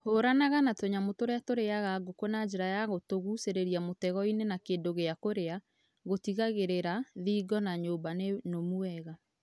Hũranaga na tũnyamũ tũrĩa tũrĩaga ngũkũ na njĩra ya gũtũgucĩrĩria mũtego-inĩ na kĩndũ gĩa kũrĩa , gũtigagĩrĩra thingo na nyũmba nĩ nũmu wega.